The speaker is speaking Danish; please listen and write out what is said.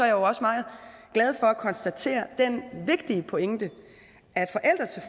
jo også meget glad for at konstatere den vigtige pointe